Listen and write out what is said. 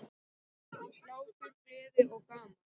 Hlátur, gleði og gaman.